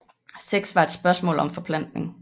Sex var et spørgsmål om forplantning